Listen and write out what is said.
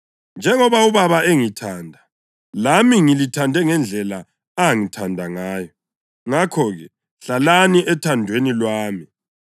Njengoba uBaba engithanda, lami ngilithande ngendlela angithanda ngayo. Ngakho-ke, hlalani ethandweni lwami.